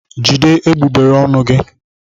Jide egbugbere ọnụ gị!